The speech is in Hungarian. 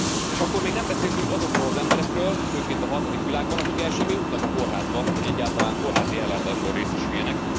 És akkor még nem beszéltünk azokról az emberekről, főként a harmadik világban, akik el sem jutnak a kórházba, hogy egyáltalán kórházi ellátásban részesüljenek.